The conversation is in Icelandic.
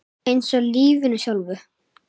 Eins og í lífinu sjálfu.